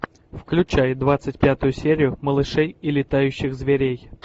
включай двадцать пятую серию малышей и летающих зверей